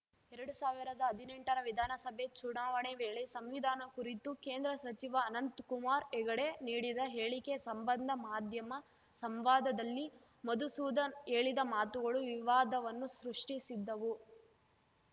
ಎರಡು ಸಾವಿರದ ಹದಿನೆಂಟರ ವಿಧಾನಸಭೆ ಚುನಾವಣೆ ವೇಳೆ ಸಂವಿಧಾನ ಕುರಿತು ಕೇಂದ್ರ ಸಚಿವ ಅನಂತ್ ಕುಮಾರ್‌ ಹೆಗಡೆ ನೀಡಿದ ಹೇಳಿಕೆ ಸಂಬಂಧ ಮಾಧ್ಯಮ ಸಂವಾದದಲ್ಲಿ ಮಧುಸೂದನ್‌ ಹೇಳಿದ ಮಾತುಗಳು ವಿವಾದವನ್ನು ಸೃಷ್ಟಿಸಿದ್ದವು